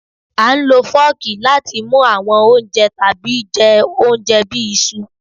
À ń lọ fọ́ọ̀kì láti mu awọn ounjẹ tabi jẹ ounjẹ bi iṣu.